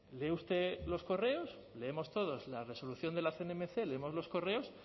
lee usted los correos leemos todos la resolución de la cnmc leemos los correos